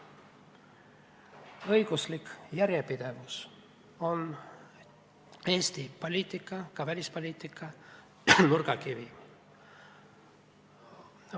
Õiguslik järjepidevus on Eesti poliitika, ka välispoliitika nurgakivi.